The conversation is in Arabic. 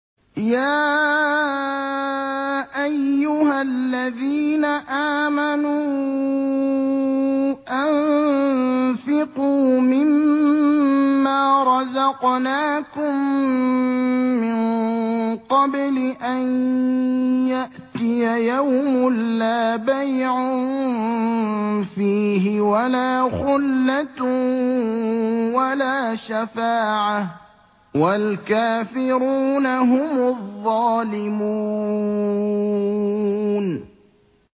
يَا أَيُّهَا الَّذِينَ آمَنُوا أَنفِقُوا مِمَّا رَزَقْنَاكُم مِّن قَبْلِ أَن يَأْتِيَ يَوْمٌ لَّا بَيْعٌ فِيهِ وَلَا خُلَّةٌ وَلَا شَفَاعَةٌ ۗ وَالْكَافِرُونَ هُمُ الظَّالِمُونَ